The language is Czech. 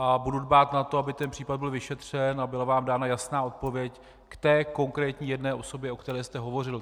A budu dbát na to, aby ten případ byl vyšetřen a byla vám dána jasná odpověď k té konkrétní jedné osobě, o které jste hovořil.